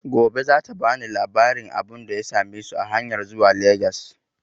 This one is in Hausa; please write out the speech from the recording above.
Gobe za ta bani labarin abunda ya same su a hanyan zuwa Legas